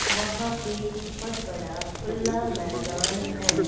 वहां पे बहोत बड़ा खुला मैदान है।